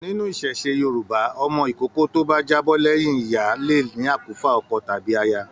Nínú iṣẹṣe Yorùbá, ọmọ ìkókó to bá já bọ́ lẹyìn ìyá le ní akufa ọkọ tàbí aya.